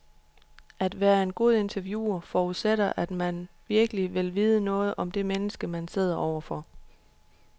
At være en god interviewer forudsætter at man virkelig vil vide noget om det menneske, man sidder overfor.